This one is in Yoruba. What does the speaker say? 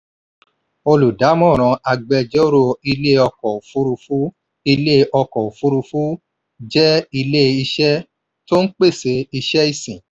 olùdámọ̀ràn agbẹjọ́rò ilé ọkọ̀ ofurufu ilé ọkọ̀ ofurufu jẹ́ ilé iṣẹ́ tó n pese iṣẹ́ ìsìn.